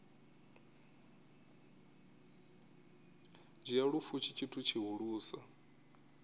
dzhia lufu tshi tshithu tshihulusa